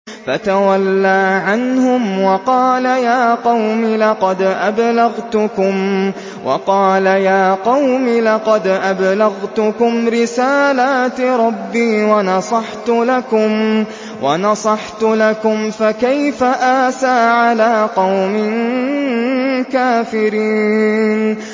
فَتَوَلَّىٰ عَنْهُمْ وَقَالَ يَا قَوْمِ لَقَدْ أَبْلَغْتُكُمْ رِسَالَاتِ رَبِّي وَنَصَحْتُ لَكُمْ ۖ فَكَيْفَ آسَىٰ عَلَىٰ قَوْمٍ كَافِرِينَ